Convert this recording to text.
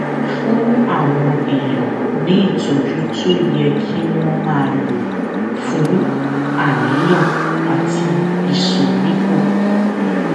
fún àwọn èèyàn ní ìtójú tó yẹ kí wón máa lò fún àníyàn àti ìsoríkó